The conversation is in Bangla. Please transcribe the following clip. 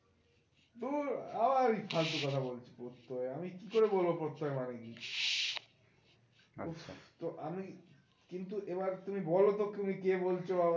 ধুর আবার এই ফালতু কথা প্রত্যয় আমি কি করে বলবো প্রত্যয় মানে কি উফ তো আমি কিন্তু এবার তুমি বলোতো তুমি কে বলছো বাবা?